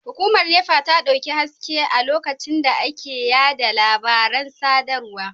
Hukumar NEPA ta dauki haske a lokacin da ake yada labaran sadarwar